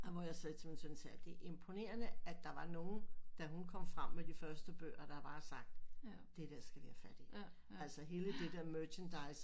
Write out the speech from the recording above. Og hvor jeg sagde til min søn sagde det er imponerende at der var nogen da hun kom frem med de første bøger der bare havde sagt det der skal vi have fat i altså hele det der merchandise